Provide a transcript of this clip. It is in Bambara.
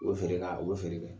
U be feere k'a u be feere kɛ.